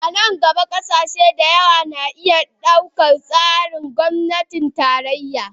A nan gaba, ƙasashe da yawa na iya ɗaukar tsarin gwamnatin tarayya.